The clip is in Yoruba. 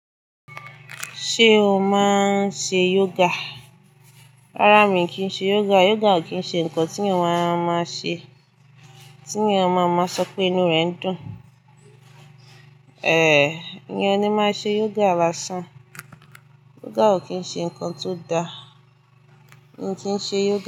Ṣé o máa ń ṣe yoga? Rárá mi kì í ṣe yoga. Yoga ò kí ń ṣe nǹkan tí ènìyàn a máa ṣe, tí ènìyàn máa ń máa sọ pé inú rẹ̀ ń dùn. Èyán o lè máa ṣe yoga lásán. Yoga ò kí ń ṣe nǹkan tó da. Mi kì n ṣe yoga.